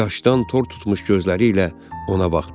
Yaşdan tor tutmuş gözləri ilə ona baxdı.